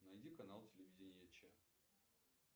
найди канал телевидения че